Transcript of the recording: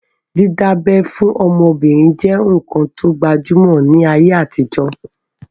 Dídá abẹ́ fún ọmọbìnrin je nkán to gbajúmọ̀ ní ayé àtijọ́